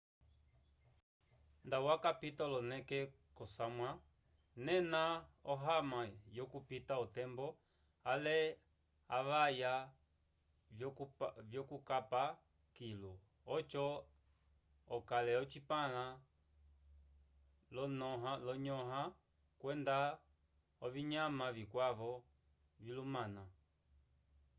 nda wakapita oloneke k'osamwa nena ohama yokupita otembo ale avaya vyukukapa kilu oco okale ocipãla l'olonyõha kwenda ovinyama vikwavo vilumana